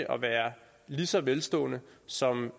at være lige så velstående som